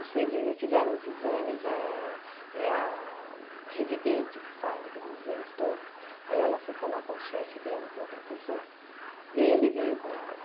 Fez eh fizeram os exames, é a residente que faz aqueles exames todos, aí ela foi falar com o chefe dela, que é o professor, e ele veio com ela.